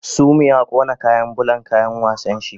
Sumi ya kona kayan bulan kayan wasan shi